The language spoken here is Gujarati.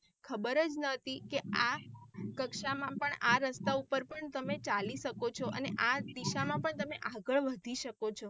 ખબર જ નથી કે આ કક્ષા માં પણ આ રસ્તા ઉપર પણ તમે ચાલી શકો છો અને આ દિશા માં પણ તમે આગળ વધી શકો છો.